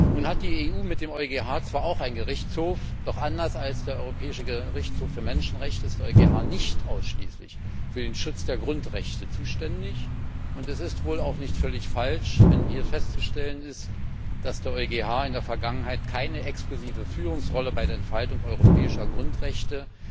Nun hat die EU mit dem EuGH zwar auch einen Gerichtshof, doch anders als der Europäische Gerichtshof für Menschenrechte ist der EuGH nicht ausschließlich für den Schutz der Grundrechte zuständig, und es ist wohl auch nicht völlig falsch, wenn hier festzustellen ist, dass der EuGH in der Vergangenheit keine exklusive Führungsrolle bei der Entfaltung europäischer Grundrechte